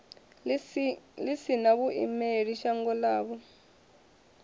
ḽi sina vhuimeli shangoni ḽavho